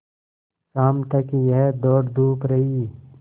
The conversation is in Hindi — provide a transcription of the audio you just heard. शाम तक यह दौड़धूप रही